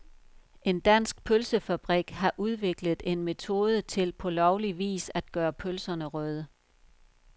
En dansk pølsefabrik har udviklet en metode til på lovlig vis at gøre pølserne røde.